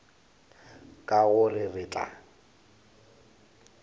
ka go re re tla